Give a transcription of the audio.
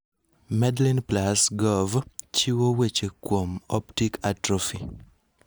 MedlinePlus.gov chiwo weche kuom optic atrophy.